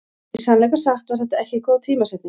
Í sannleika sagt var þetta ekki góð tímasetning.